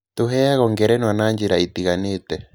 Tũheagwo ngerenwa na njĩra itiganĩte.